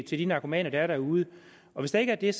til de narkomaner der er derude hvis der ikke er det er